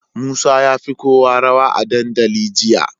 Musa yafi kowa rawa a dandali jiya